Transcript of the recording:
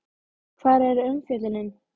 Hvar er umfjöllunin?